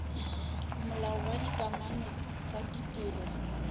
molao wa dikamano tsa ditiro